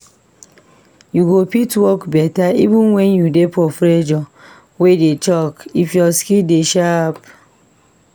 You go fit work beta even when u dey for pressure wey dey choke, if ur skills dey sharp